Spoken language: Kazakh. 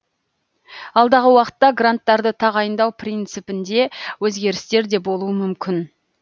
алдағы уақытта гранттарды тағайындау принципінде өзгерістер де болуы мүмкін